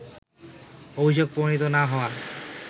অভিযোগ প্রমাণিত না হওয়া